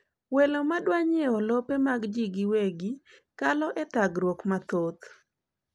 welo madwanyiewo lope mag jii giwegi kalo e thagruoge mathoth